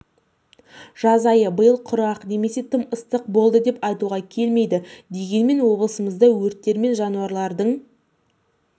жаз айы биыл құрғақ немесе тым ыстық болды деп айтуға келмейді дегенмен облысымызда өрттер мен жанулардың